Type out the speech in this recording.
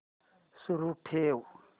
सुरू ठेव